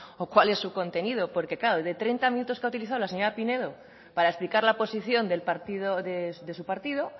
o cuál es su contenido porque claro de treinta minutos que ha utilizado la señora pinedo para explicar la posición del partido de su partido